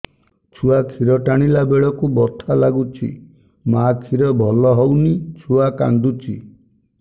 ଛୁଆ ଖିର ଟାଣିଲା ବେଳକୁ ବଥା ଲାଗୁଚି ମା ଖିର ଭଲ ହଉନି ଛୁଆ କାନ୍ଦୁଚି